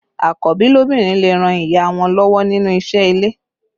Àkọ́bí lóbìnrin lè ràn ìyá wọn lọ́wọ́ nínú isẹ́ ilé